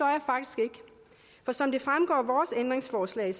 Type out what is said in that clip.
for som det fremgår af vores ændringsforslag